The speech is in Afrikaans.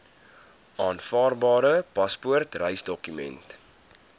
aanvaarbare paspoort reisdokument